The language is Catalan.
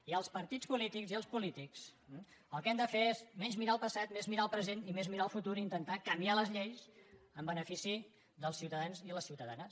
i els partits polítics i els polítics el que hem de fer és menys mirar al passat més mirar al present i més mirar al futur i intentar canviar les lleis en benefici dels ciutadans i les ciutadanes